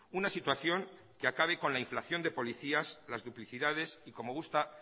una situación que acabe con la inflación de policías las duplicidades y como gusta